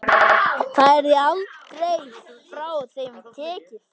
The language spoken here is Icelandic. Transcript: Það yrði aldrei frá þeim tekið.